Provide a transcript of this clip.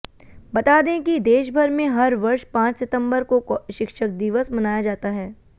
बता दें कि देशभर में हर वर्ष पांच सितंबर को शिक्षक दिवस मनाया जाता है